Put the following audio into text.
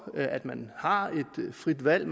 at man har et frit valg